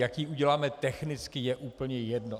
Jak ji uděláme technicky, je úplně jedno.